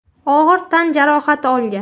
og‘ir tan jarohati olgan.